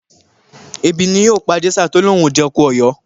Ebi ni ò pàJèṣà tó lóun ò jẹ̀kọ Ọ̀yọ́